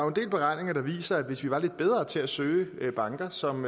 en del beregninger der viser at hvis vi var lidt bedre til at søge banker som